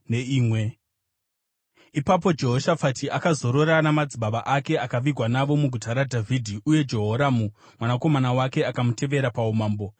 Ipapo Jehoshafati akazozorora namadzibaba ake akavigwa navo muguta raDhavhidhi uye Jehoramu mwanakomana wake akamutevera paumambo.